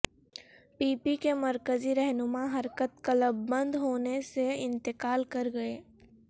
پی P کے مرکزی رہنما حرکت قلب بند ہونے سے انتقال کر گئے